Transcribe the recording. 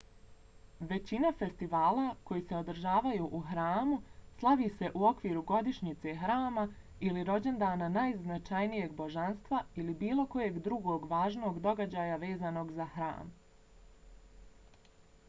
većina festivala koji se održavaju u hramu slavi se u okviru godišnjice hrama ili rođendana najznačajnijeg božanstva ili bilo kojeg drugog važnog događaja vezanog za hram